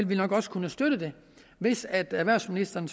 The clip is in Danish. vi nok også kunne støtte det hvis erhvervsministeren